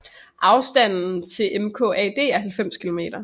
Afstand til MKAD er 90 km